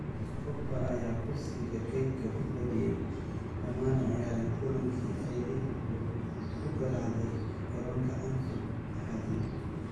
Pogba ayaa kursiga keydka fadhiyay, lamana ciyaarin kulankii ay Liverpool ku garaacday garoonka Anfield Axadii.